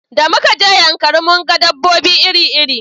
Da muka je yankari mun ga dabobbi iri iri